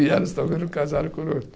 E elas também não casaram